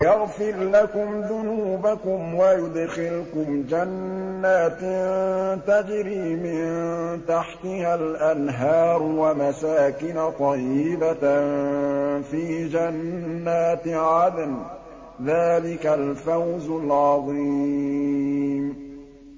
يَغْفِرْ لَكُمْ ذُنُوبَكُمْ وَيُدْخِلْكُمْ جَنَّاتٍ تَجْرِي مِن تَحْتِهَا الْأَنْهَارُ وَمَسَاكِنَ طَيِّبَةً فِي جَنَّاتِ عَدْنٍ ۚ ذَٰلِكَ الْفَوْزُ الْعَظِيمُ